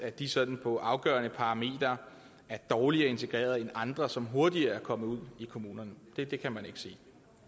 de sådan på afgørende parametre er dårligere integreret end andre som hurtigere er kommet ud i kommunerne det kan man ikke sige